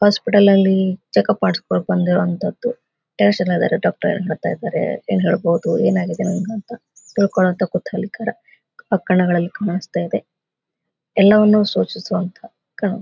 hospitals ನಲ್ಲಿ check up ಮಾಡಿಸ್ಕೊಳ್ಳೋಕೆ ಬಂದಿರುವಂತಹದ್ದು ಡಾಕ್ಟರ್ ಹೇಳ್ತ ಇದ್ದಾರೆ ಹೇಳ್ಬಹುದು ಏನಾಗಿದೆ ನಿಂಗೆ ಅಂತ ತಿಳ್ಕೋಳ್ಳಿವಂತಹ ಕುತೂಹಲಕರ ಕಣ್ಣುಗಳಲ್ಲಿ ಕಾಣಿಸ್ತಾ ಇದೆ ಎಲ್ಲವನ್ನು ಸೂಚಿಸುವಂತಹ--